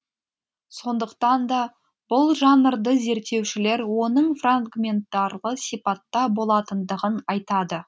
сондықтан да бұл жанрды зерттеушілер оның фрагментарлы сипатта болатындығын айтады